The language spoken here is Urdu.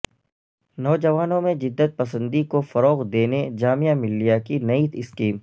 نوجوانوں میں جدت پسندی کو فروغ دینے جامعہ ملیہ کی نئی اسکیم